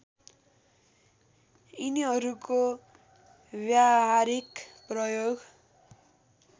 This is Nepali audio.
यिनीहरूको व्यावहारिक प्रयोग